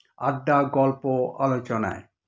আড্ডা-গল্প-আলোচনায়